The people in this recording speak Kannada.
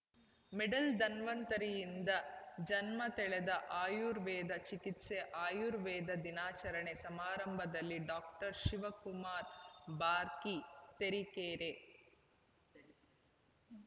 ಮಿಡ್ಲ್ ಧನ್ವಂತರಿಯಿಂದ ಜನ್ಮತಳೆದ ಆಯುರ್ವೇದ ಚಿಕಿತ್ಸೆ ಆಯುರ್ವೇದ ದಿನಾಚರಣೆ ಸಮಾರಂಭದಲ್ಲಿ ಡಾಕ್ಟರ್ ಶಿವಕುಮಾರ್‌ ಬಾರ್ಕಿ ತರೀಕೆರೆ